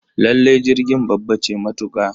Lallai jirgin babba ce matuka